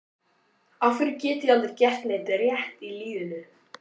Af hverju get ég aldrei gert neitt rétt í lífinu?